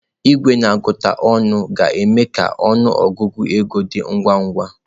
Igwe na-agụta ọnụ ga-eme ka ọnụ ọgụgụ ego dị ngwa ngwa.